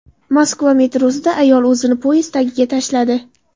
Moskva metrosida ayol o‘zini poyezd tagiga tashladi.